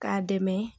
K'a dɛmɛ